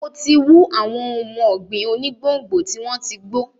Mo ti wú àwọn ohun ọ̀gbìn onígbòǹgbò tí wọ́n ti gbó.